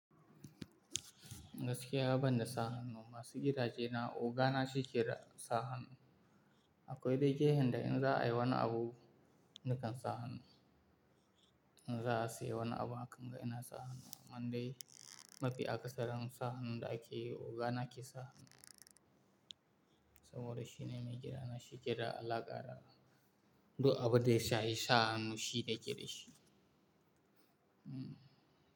Gaskiya, ban da sa hannu masu gidaje na ogana shi ke da sa hannu. Akwai dai gehen da in za a yi wani abu, nikan sa hannu. In za a siye wani abu ha kan ga ina sa hannu. Man dai mafi akasaran sa hannun da ake ogana ke sa hannu. Saboda shi ne mai gidana shi ke da alaka da duk abun da ya shahi sa hannu shine ke da shi. Hmm.